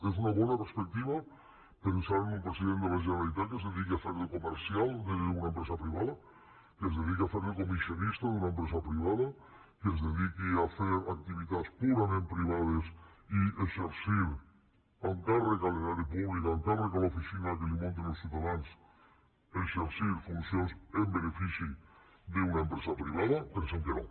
és una bona perspectiva pensar en un president de la generalitat que es dediqui a fer de comercial d’una empresa privada que es dediqui a fer de comissionista d’una empresa privada que es dediqui a fer activitats purament privades i amb càrrec a l’erari públic amb càrrec a l’oficina que li munten els ciutadans exercir funcions en benefici d’una empresa privada pensem que no